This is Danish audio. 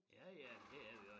Ja ja det er vi også